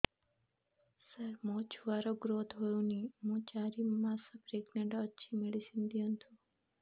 ସାର ମୋର ଛୁଆ ର ଗ୍ରୋଥ ହଉନି ମୁ ଚାରି ମାସ ପ୍ରେଗନାଂଟ ଅଛି ମେଡିସିନ ଦିଅନ୍ତୁ